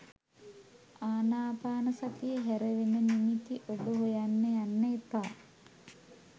ආනාපානසතිය හැර වෙන නිමිති ඔබ හොයන්න යන්න එපා.